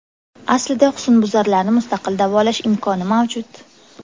Aslida husnbuzarlarni mustaqil davolash imkoni mavjud.